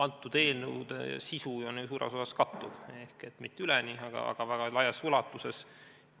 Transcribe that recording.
Nende eelnõude sisu on ju suures osas kattuv, mitte üleni, aga väga laias ulatuses.